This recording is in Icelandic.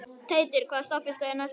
Teitur, hvaða stoppistöð er næst mér?